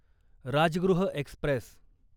Rajgriha Express